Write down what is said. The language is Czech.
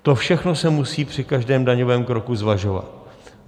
To všechno se musí při každém daňovém kroku zvažovat.